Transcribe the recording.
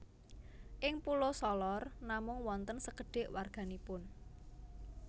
Ing Pulo Solor namung wonten sekedhik warga nipun